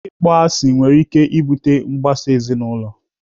Ịkpọ asị nwere ike ibute mgbasa ezinaụlọ.